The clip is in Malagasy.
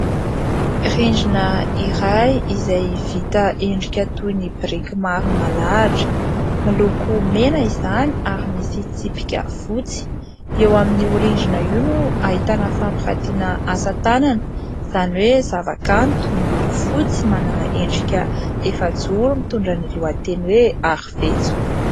Rindrina iray izay vita endrika toy ny biriky maro nalahatra, miloko mena izany ary misy tsipika fotsy. Eo amin'ny rindrina io no ahitana fampirantiana asa tanana izany hoe zavakanto miloko fotsy manana endrika efajoro, mitondra ny lohateny hoe Arivetso.